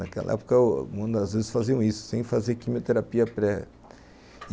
Naquela época, algumas vezes faziam isso, sem fazer quimioterapia pré.